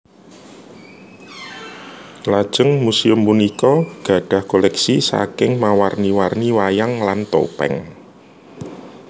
Lajeng muséum punika gadhah koleksi saking mawarni warni wayang lan topeng